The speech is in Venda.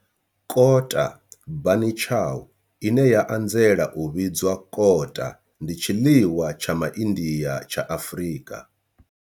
Kota bunny chow, ine ya anzela u vhidzwa kota, ndi tshiḽiwa tsha Ma India tsha Afrika.